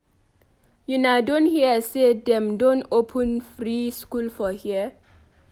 Una don hear say dem don open free school for here?